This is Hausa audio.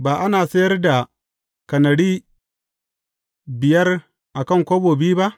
Ba ana sayar da kanari biyar a kan kobo biyu ba?